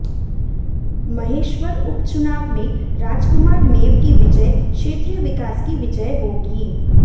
महेश्वर उपचुनाव में राजकुमार मेव की विजय क्षेत्रीय विकास की विजय होगी